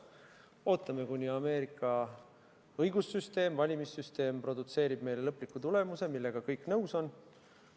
Ootame, kuni Ameerika õigussüsteem, valimissüsteem produtseerib meile lõpliku tulemuse, millega kõik nõus on.